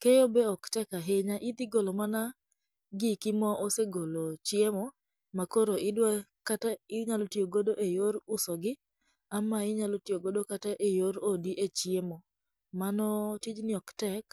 Keyo be ok tek ahinya, idhi golo mana giki ma osegolo chiemo makoro idwa kata inyalo tiyo godo eyor usogi, ama inyalo tiyo kode eyor odi e chiemo. mano tijni ok tek.